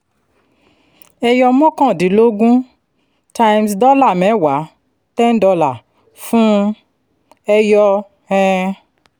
ẹyọ mọ́kàndínlógún times dọ́là mẹ́wàá ten dollars fún un ẹyọ um